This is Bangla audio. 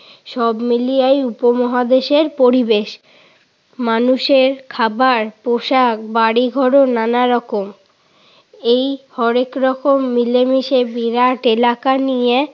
সব মিলিয়েই উপমহাদেশের পরিবেশ। মানুষের খাবার, পোষাক, বাড়িঘরও নানারকম। এই হরেকরকম মিলেমিশে বিরাট এলাকা নিয়ে